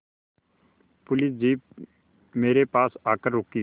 police jeep मेरे पास आकर रुकी